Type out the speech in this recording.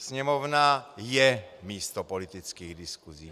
Sněmovna je místo politických diskusí.